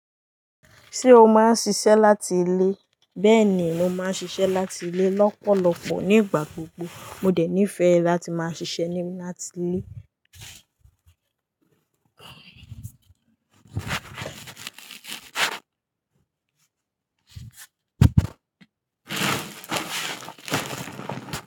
Ṣé o máa ń ṣiṣẹ́ láti ilé? Bẹẹni, mo máa ń ṣiṣẹ́ láti ilé lọ́pọ̀lọpọ̀ nígbà gbogbo. Mo dẹ̀ nífẹ̀ẹ́ láti máa ṣiṣẹ́ ni láti ilé.